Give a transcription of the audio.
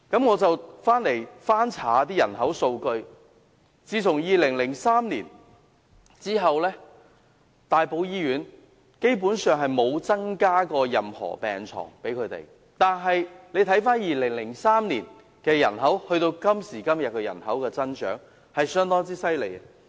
我翻查人口數據，發現自2003年起，大埔醫院基本上沒有增加任何病床，但2003年至今天的人口增長卻十分厲害。